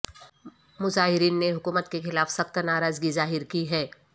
مضاہرین نے حکومت کے خلاف سخت ناراضگی ظاہر کی ہے